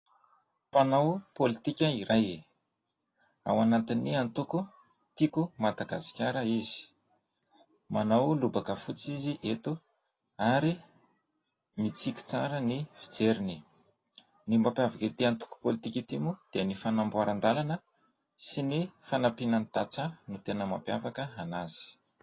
Mpanao politika iray. Ao anatin'ny antoko: Tiako i Madagasikara izy. Manao lobaka fotsy izy eto, ary mitsiky tsara ny fijeriny. Ny mampiavaka ity antoko politika ity moa dia: ny fanamboaran-dàlana sy ny fanampiana ny tatsaha, ny tena mampiavaka anazy.